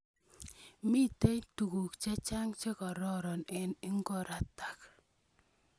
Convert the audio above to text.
Mitei tuguuk chechang che kororon eng igoratak.